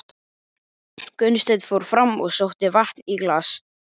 Gunnsteinn fór fram og sótti vatn í glas.